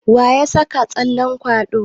Waya saka tsallen kwaɗo?